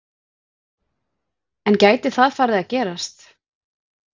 En gæti það farið að gerast?